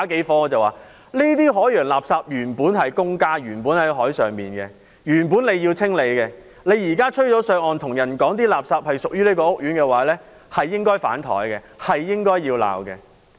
我說："這些海洋垃圾原本在海上，政府原本應要清理，但現在被吹上岸，你卻跟我說垃圾屬於這個屋苑，真該被'反檯'和被罵"。